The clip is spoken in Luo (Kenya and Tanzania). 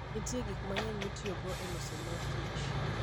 Nitie gik mang'eny mitiyogo e loso mor kich.